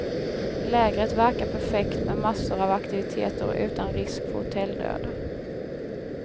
Lägret verkar perfekt med massor av aktiviteter och utan risk för hotelldöd.